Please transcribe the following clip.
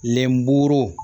Lenburu